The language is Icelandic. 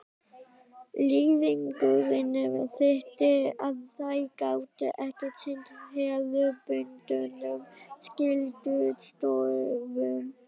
Leiðangurinn þýddi að þeir gátu ekki sinnt hefðbundnum skyldustörfum.